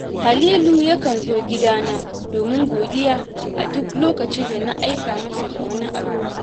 Halilu yakan zo gidana domin godiya a duk lokacin da na aika masa da wani abu